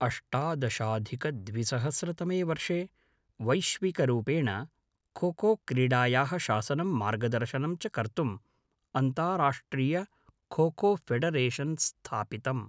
अष्टादशाधिकद्विसहस्रतमे वर्षे वैश्विकरूपेण खोखोक्रीडायाः शासनं मार्गदर्शनं च कर्तुं अन्ताराष्ट्रियखोखोफ़ेडरेशन् स्थापितम्।